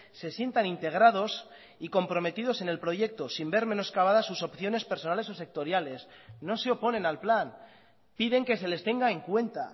se sientan integrados y comprometidos en el proyecto sin ver menoscabadas sus opciones personales o sectoriales no se oponen al plan piden que se les tenga en cuenta